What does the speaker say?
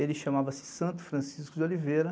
Ele chamava-se Santo Francisco de Oliveira.